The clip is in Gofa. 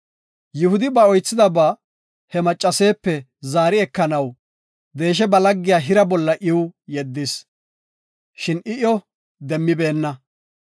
Yihudi ba oythidaba he maccaseepe zaari ekanaw deesha ba laggiya Hira bolla iw yeddis. Shin I iyo demmibeenna.